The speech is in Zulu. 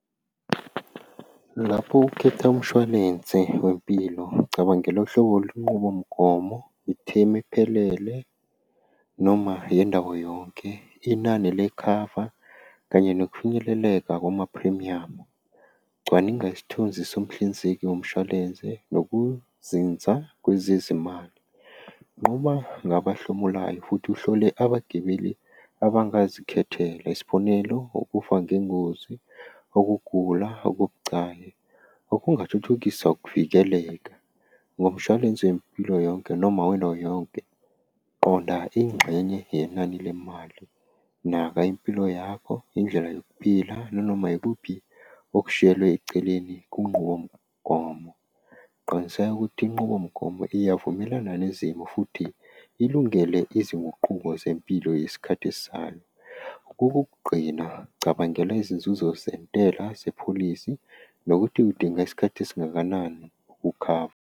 Lapho ukhetha umshwalense wempilo, ngicabangela uhlobo lwenqubomgomo, ithemu ephelele noma yendawo yonke, inani lekhava kanye nokufinyeleleka kumaphrimiyamu. Cwaninga isithunzi somhlinzeki womshwalense, nokuzinza kwezezimali. Nqoba ngabahlomulayo futhi uhlole abagibeli abangazikhethela, isibonelo, ukufa ngengozi, ukugula okubucayi. Okungathuthukisa ukuvikeleka ngomshwalense wempilo yonke noma yonke. Qonda ingxenye yenani lemali, naka impilo yakho indlela yokuphila nanoma ikuphi okushiyelwe eceleni kwinqubomgomo. Qiniseka ukuthi inqubomgomo iyavumelana nezimo futhi ilungele izinguquko zempilo yesikhathi esizayo. Okokugqina cabangela izinzuzo sezentela zepholisi nokuthi udinga isikhathi esingakanani Ukukhava.